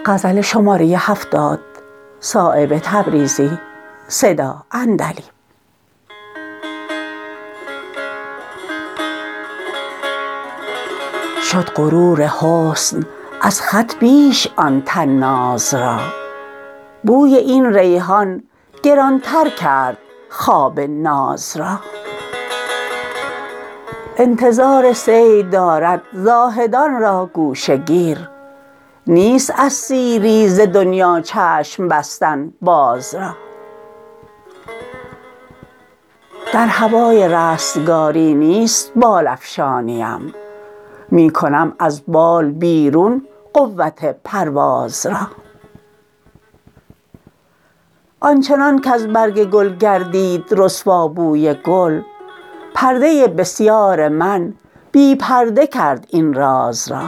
شد غرور حسن از خط بیش آن طناز را بوی این ریحان گران تر کرد خواب ناز را انتظار صید دارد زاهدان را گوشه گیر نیست از سیری ز دنیا چشم بستن باز را در هوای رستگاری نیست بال افشانیم می کنم از بال بیرون قوت پرواز را آنچنان کز برگ گل گردید رسوا بوی گل پرده بسیار من بی پرده کرد این راز را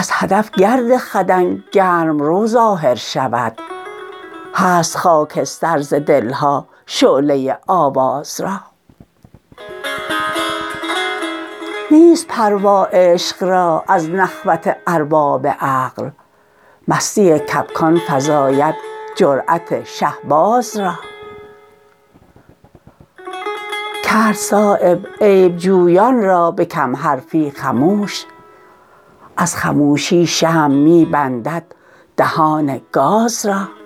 از هدف گرد خدنگ گرم رو ظاهر شود هست خاکستر ز دلها شعله آواز را نیست پروا عشق را از نخوت ارباب عقل مستی کبکان فزاید جرأت شهباز را کرد صایب عیبجویان را به کم حرفی خموش از خموشی شمع می بندد دهان گاز را